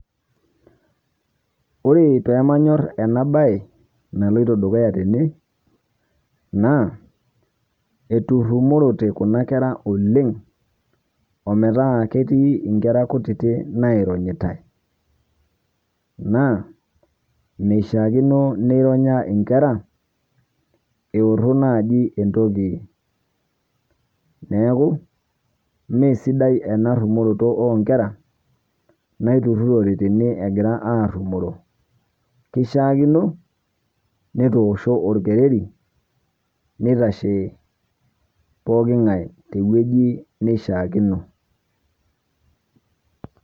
Ore pee manyorr ena bae naloito dukuyaa tene, naa eturrumorote kuna kera oleng', ometaa ketii inkera kutiti naironyitae, naa meishaakino neironya inkera, eorro naaji entoki, neeku meesidai ena rrumoroto oo nkera naaiturirrote tene egira arrumoro, keishaakino netoosho orkereri neitashe pooki ng'ae, te wueji neishaakino.